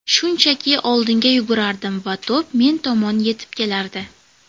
Shunchaki oldinga yugurardim va to‘p men tomon yetib kelardi.